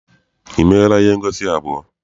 E meela ihe ngosi abụọ.